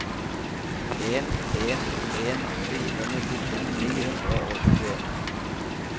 en en en fire nittito ni hundre og tjueen